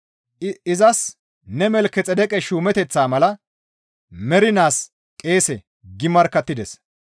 Izas, «Ne Malkexeedeqe shuumeteththaa mala mernaas qeese» gi markkattides.